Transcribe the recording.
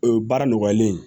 O baara nɔgɔlen